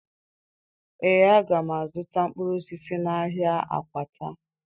Ee, aga m azụta mkpụrụ osisi n'ahịa Akwata